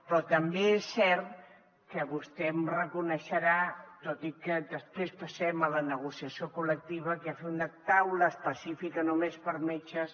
però també és cert que vostè em reconeixerà tot i que després passem a la negociació col·lectiva que fer una taula específica només per a metges